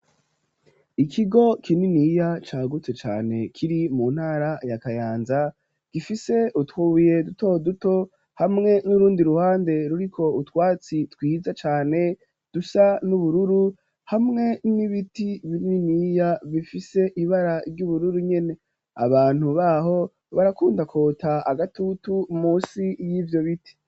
ikigo kininiya cya gutse cyane kiri mu ntara ya kayanza gifise utwuye duto duto hamwe n'urundi ruhande ruriko utwatsi twiza cane dusa n'ubururu hamwe n'ibiti bininiya bifise ibara ry'ubururu nyene abantu baho barakundakota agatutu munsi y'ivyo biti